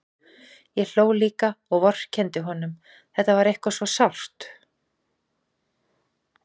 Ég hló líka og vorkenndi honum, þetta var eitthvað svo sárt.